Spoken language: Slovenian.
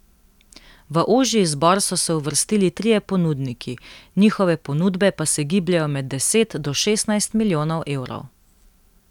V ožji izbor so se uvrstili trije ponudniki, njihove ponudbe pa se gibljejo med deset do šestnajst milijonov evrov.